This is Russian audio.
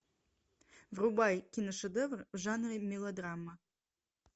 врубай киношедевр в жанре мелодрама